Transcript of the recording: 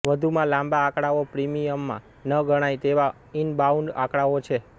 વધુમાં લાંબા આંકડાઓ પ્રીમિઅમમાં ન ગણાય તેવા ઈનબાઉન્ડ આંકડાઓ છે